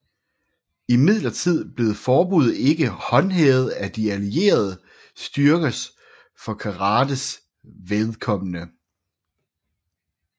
Imidlertid blev forbuddet ikke håndhævet af De Allierede styrkers for karates vedkommende